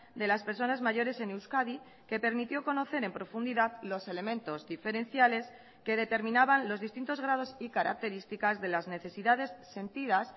de las personas mayores en euskadi que permitió conocer en profundidad los elementos diferenciales que determinaban los distintos grados y características de las necesidades sentidas